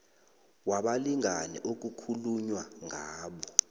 wabalingani okukhulunywa ngabo